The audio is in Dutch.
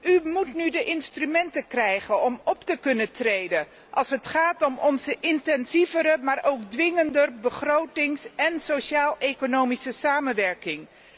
U moet nu de instrumenten krijgen om te kunnen optreden als het gaat om onze intensievere, maar ook dwingender budgettaire en sociaal economische samenwerking.